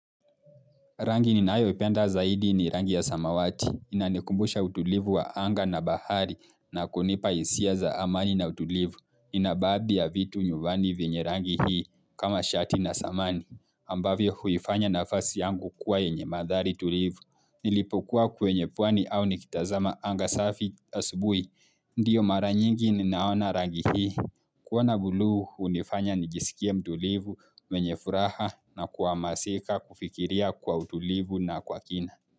Rangi ninayo ipenda zaidi ni rangi ya samawati. Inanikumbusha utulivu wa anga na bahari na kunipa hisia za amani na utulivu. Ina baadhi ya vitu nyumbani vinyerangi hii kama shati na samani. Ambavyo huifanya nafasi yangu kuwa yenye madhari tulivu. Nilipokuwa kwenye pwani au nikitazama anga safi asubuhi. Ndiyo mara nyingi ninaona rangi hii. Kuona buluu hunifanya nijisikea mtulivu mwenye furaha na kuwa masika kufikiria kwa utulivu na kwa kina.